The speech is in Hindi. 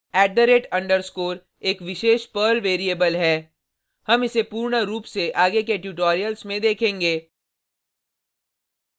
@_ एक विशेष पर्ल वेरिएबल है हम इसे पूर्ण रूप से आगे के ट्यूटोरियल्स में देखेंगे